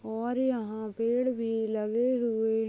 और यहाँ पेड़ भी लगे हुए--